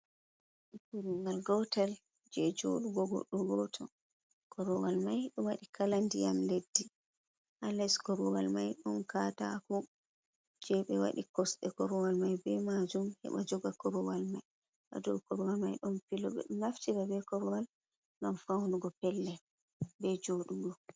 Korwal, ngal gotel jei joɗugo goddo gooto korwal mai do waɗi kala ndiyam leddi ha leddi. korwal mai ɗum kaatako jei be waɗi kosɗe korwal mai be maajum haɓa joga korwal mai hado korwal mai don piloo naftira be korwal gam faunugo pellel be jodugo.